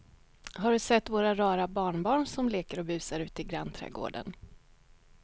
Har du sett våra rara barnbarn som leker och busar ute i grannträdgården!